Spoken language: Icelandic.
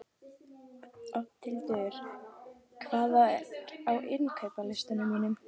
Oddhildur, hvað er á innkaupalistanum mínum?